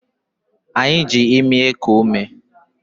Anyị ji imi eku umena-eku ume